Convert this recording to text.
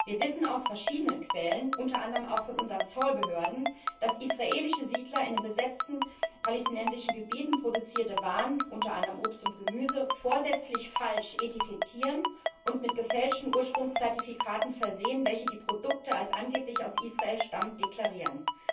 Wir wissen aus verschiedenen Quellen, unter anderem auch von unseren Zollbehörden, dass israelische Siedler in den besetzten palästinensischen Gebieten produzierte Waren, unter anderem Obst und Gemüse, vorsätzlich falsch etikettieren und mit gefälschten Ursprungszertifikaten versehen, welche die Produkte als angeblich aus Israel stammend deklarieren.